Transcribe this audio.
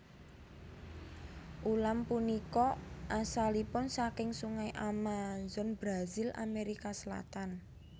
Ulam punika asalipun saking Sungai Amazon Brazil Amerika Selatan